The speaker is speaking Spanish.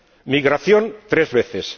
migración, tres veces